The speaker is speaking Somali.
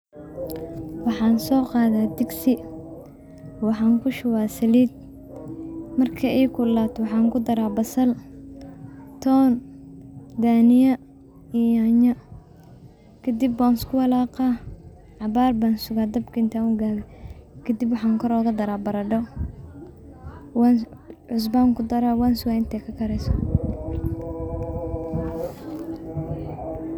Waxan soo qadaya digsi, waxan kushubaya saliid, markay ii kulullaato waxan kudara basal, ton, daniya iyo nyaanya, kadib wan isku walaqaa, cabaar ban sugaa dabkan intan igaabiyo, kadib waxan kor oga daraa baradho, cusba an kudaraa wan suga intay ka kareyso